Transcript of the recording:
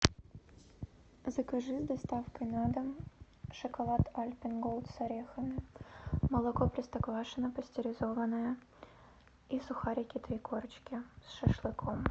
закажи доставку на дом шоколад альпен голд с орехами молоко простоквашино пастеризованное и сухарики три корочки с шашлыком